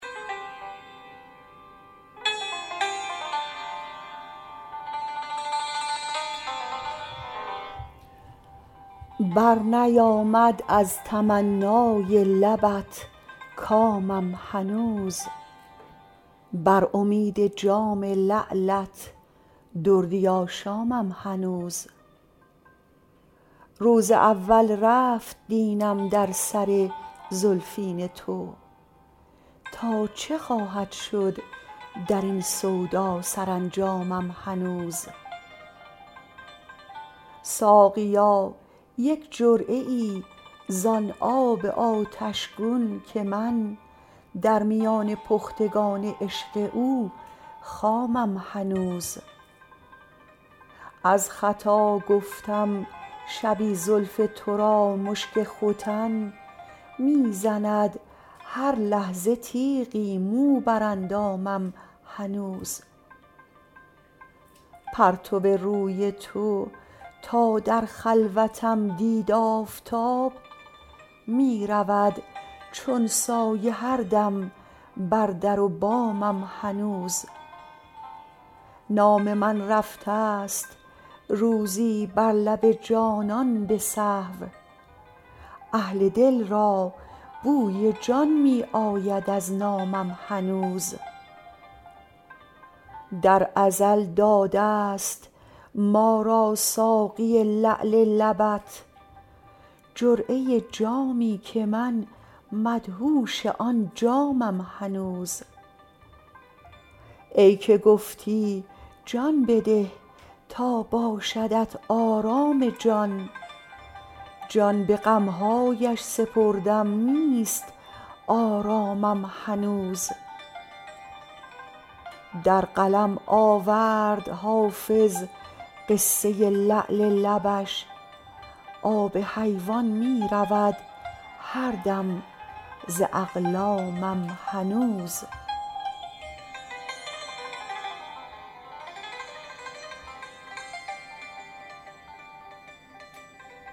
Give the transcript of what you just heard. برنیامد از تمنای لبت کامم هنوز بر امید جام لعلت دردی آشامم هنوز روز اول رفت دینم در سر زلفین تو تا چه خواهد شد در این سودا سرانجامم هنوز ساقیا یک جرعه ای زان آب آتش گون که من در میان پختگان عشق او خامم هنوز از خطا گفتم شبی زلف تو را مشک ختن می زند هر لحظه تیغی مو بر اندامم هنوز پرتو روی تو تا در خلوتم دید آفتاب می رود چون سایه هر دم بر در و بامم هنوز نام من رفته ست روزی بر لب جانان به سهو اهل دل را بوی جان می آید از نامم هنوز در ازل داده ست ما را ساقی لعل لبت جرعه جامی که من مدهوش آن جامم هنوز ای که گفتی جان بده تا باشدت آرام جان جان به غم هایش سپردم نیست آرامم هنوز در قلم آورد حافظ قصه لعل لبش آب حیوان می رود هر دم ز اقلامم هنوز